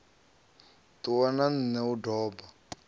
ṱuwa na nṋe u doba